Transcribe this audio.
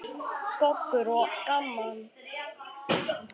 Goggur og gaman.